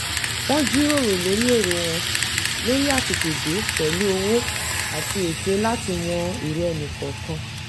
wọ́n jíròrò lórí èrò wọn lórí àtètèdé pẹ̀lú ọ̀wọ̀ àti ète láti mọ èrò ẹnì kọ̀ọ̀kan